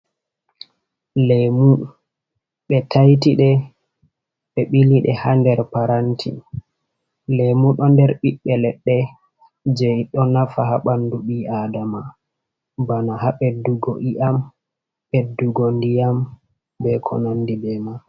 Lemu ɓe taitiɗe be ɓiliɗe ha nder paranti lemu ɗo nder ɓiɓbe leɗɗe je ɗo nafa ha ɓandu ɓii adama bana ha ɓeddugo iyam ɓeddugo ndiyam be konandi be mai.